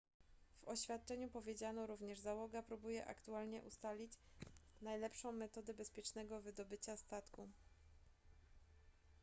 w oświadczeniu powiedziano również załoga próbuje aktualnie ustalić najlepszą metodę bezpiecznego wydobycia statku